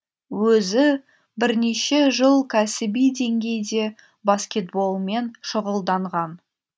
өзі бірнеше жыл кәсіби деңгейде баскетболмен шұғылданған